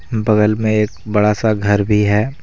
बगल में एक बड़ा सा घर भी है।